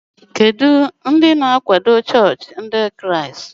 Olee nkwenkwe ndị bụ́ isi na-akwado chọọchị Ndị Kraịst?